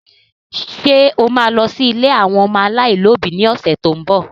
Ṣé o ma lọ sí ilé àwọn ọmọ aláìlóbi lọ́sẹ̀ tó ń bọ̀?